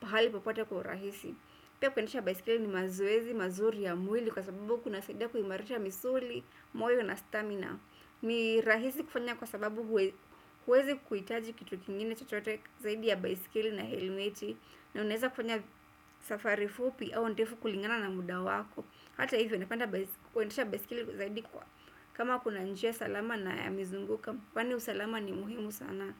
pahali popote kwa urahisi. Pia kuendesha baiskeli ni mazoezi, mazuri ya mwili kwa sababu kuna saida kuhimarisha misuli, moyo na stamina. Ni rahisi kufanya kwa sababu huwezi kuhitaji kitu kingine chochote zaidi ya baiskeli na helmeti na unaweza kufanya safari fupi au ndefu kulingana na muda wako. Hata hivyo, napenda kuendesha baiskeli zaidi kwa kama kuna njia salama na ya mizunguko. Kwani usalama ni muhimu sana.